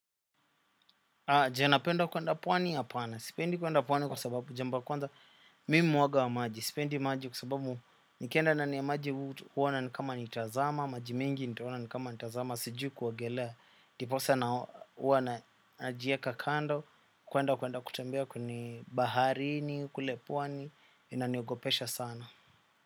Je, napenda kuenda pwani? Hapana, sipendi kwenda pwani kwa sababu jambo ya kwanza mimi ni mwoga wa maji. Sipendi maji kwa sababu nikienda ndani ya maji huona kama nitazama. Maji mengi ntaona kama nitazama. Sijui kuogelea. Ndiposa huwa najiweka kando. Kwenda kwenda kutembea kwenye baharini kule pwani, inaniogopesha sana.